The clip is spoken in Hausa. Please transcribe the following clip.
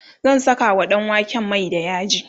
zan Saka wa ɗanwaken Mai da yaji